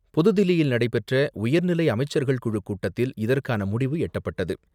புதுதில்லியில் நடைபெற்ற உயர்நிலை அமைச்சர்கள் குழுக்கூட்டத்தில் இதற்கான முடிவு எட்டப்பட்டது.